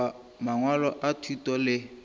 goba mangwalo a thuto le